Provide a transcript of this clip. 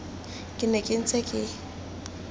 ke ne ke ntse ke